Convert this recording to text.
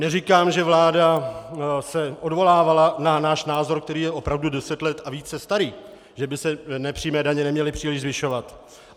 Neříkám, že vláda se odvolávala na náš názor, který je opravdu deset let a více starý, že by se nepřímé daně neměly příliš zvyšovat.